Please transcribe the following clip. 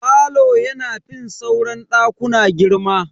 Falo yana fin sauran dakuna girma.